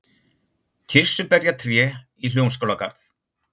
Kirsuberjatré í Hljómskálagarð